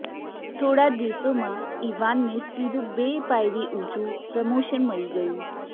થોડા જ દિવસોમાં ઇવાનને સીધું બે પાયરી ઊંચું પ્રમોશન મળી ગયું